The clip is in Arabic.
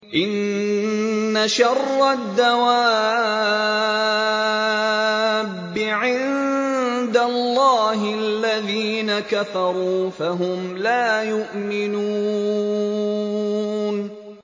إِنَّ شَرَّ الدَّوَابِّ عِندَ اللَّهِ الَّذِينَ كَفَرُوا فَهُمْ لَا يُؤْمِنُونَ